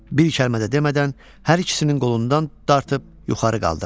Bir kəlmə də demədən hər ikisinin qolundan dartıb yuxarı qaldırdı.